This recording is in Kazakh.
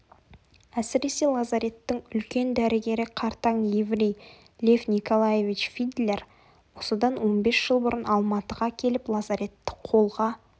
әсіресе лазареттің үлкен дәрігері қартаң еврей лев николаевич фидлер осыдан он бес жыл бұрын алматыға келіп лазаретті қолға